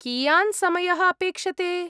कियान् समयः अपेक्षते?